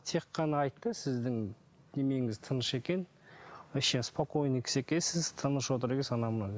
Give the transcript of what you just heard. тек қана айтты сіздің тыныш екен вообще спокойный кісі екенсіз тыныш отыр екенсіз анау мынау деп